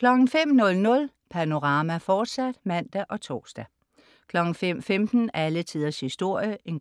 05.00 Panorama, fortsat (man og tors) 05.15 Alle tiders historie* 06.00